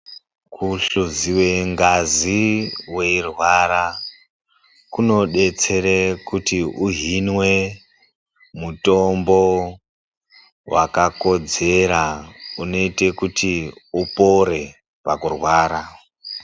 Kuhluziwe ngazi kana wairwara kunodetsere kuti uhinwe mutombo wekakodzera unoite kuti upone pakurwara.